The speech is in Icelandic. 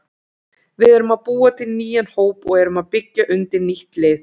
Við erum að búa til nýjan hóp og erum að byggja undir nýtt lið.